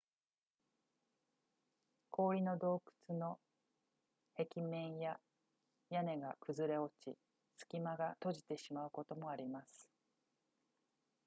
氷の洞窟の壁面や屋根が崩れ落ち隙間が閉じてしまうこともあります